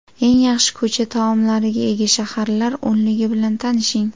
Eng yaxshi ko‘cha taomlariga ega shaharlar o‘nligi bilan tanishing .